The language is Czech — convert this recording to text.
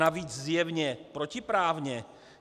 Navíc zjevně protiprávně?